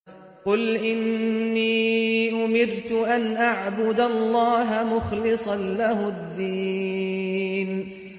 قُلْ إِنِّي أُمِرْتُ أَنْ أَعْبُدَ اللَّهَ مُخْلِصًا لَّهُ الدِّينَ